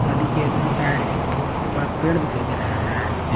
नदी के दोनो साइड बड़े पेड़ दिखाई दे रहे है।